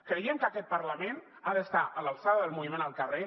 creiem que aquest parlament ha d’estar a l’alçada del moviment al carrer